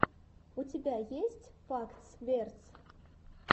у тебя есть фактс верс